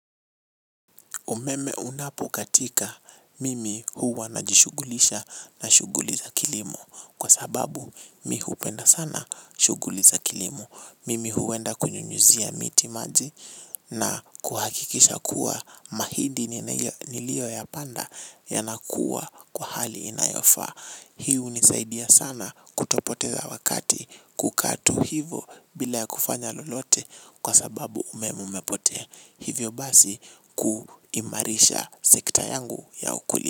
Umeme unapo katika mimi huwa najishughulisha na shughuli za kilimo kwa sababu mi hupenda sana shughuli za kilimo. Mimi huenda kunyunyuzia miti maji na kuhakikisha kuwa mahidi nilio ya panda ya nakuwa kwa hali inayofaa. Hi hunisaidia sana kutopoteza wakati kukaa tu hivo bila ya kufanya lolote kwa sababu umeme umepotea. Hivyo basi kuimarisha sekta yangu ya ukuli.